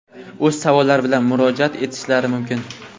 o‘z savollari bilan murojaat etishlari mumkin.